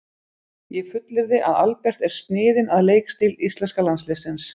Ég fullyrði að Albert er sniðinn að leikstíl íslenska landsliðsins.